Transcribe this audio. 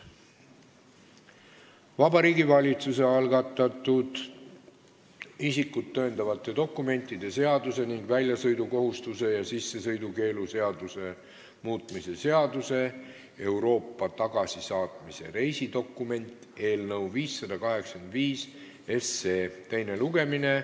Vabariigi Valitsuse algatatud isikut tõendavate dokumentide seaduse ning väljasõidukohustuse ja sissesõidukeelu seaduse muutmise seaduse eelnõu 585 teine lugemine.